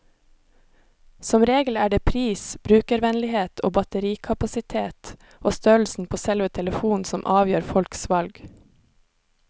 Som regel er det pris, brukervennlighet, batterikapasitet og størrelsen på selve telefonen som avgjør folks valg.